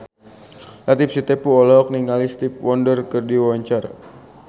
Latief Sitepu olohok ningali Stevie Wonder keur diwawancara